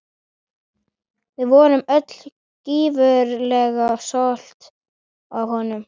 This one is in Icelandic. Við vorum öll gífurlega stolt af honum.